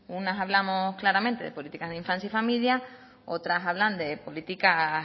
unas hablamos claramente de políticas de infancia y familia otras hablan de políticas